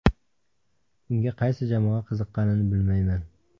Unga qaysi jamoa qiziqqanini bilmayman.